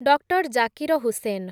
doctor Zakir Hussain